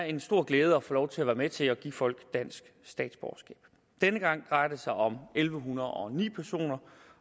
en stor glæde at få lov til at være med til at give folk dansk statsborgerskab denne gang drejer det sig om elleve hundrede og ni personer